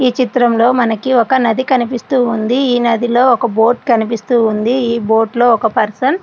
ఈ చిత్రంలో మనకి ఒక నది కనిపిస్తూ ఉంది ఈ నదిలో ఒక బోట్ కనిపిస్తుంది ఈ బోట్లో ఒక పర్సన్ --